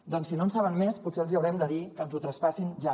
doncs si no en saben més potser els haurem de dir que ens ho traspassin ja